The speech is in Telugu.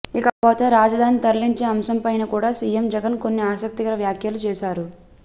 ఇకపోతే రాజధానిని తరలించే అంశం పైన కూడా సీఎం జగన్ కొన్ని ఆసక్తికరమైన వాఖ్యలు చేశారు